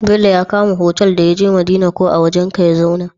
Bello ya kama otal da yaje madina ko a wajan ka ya zauna?